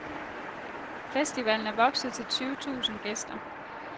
Festivalen er vokset til tyve tusind gæster.